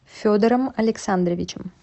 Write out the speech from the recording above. федором александровичем